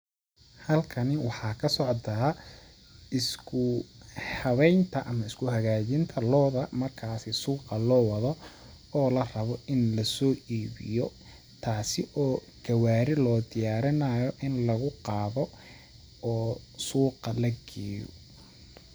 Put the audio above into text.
Halkani waxaa ka socdaa isku..isku habeynta ama isku hagaajinta looda markaasi suuqa loo wado oo la rabo in lasoo iibiyo ,taasi oo gawaari loo diyaarinaayo in lagu qaado oo suuqa la geeyo.